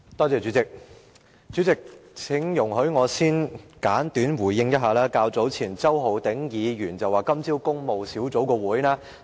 主席，請容許我先簡短回應一下周浩鼎議員所說的話。